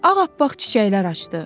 Ağappaq çiçəklər açdı.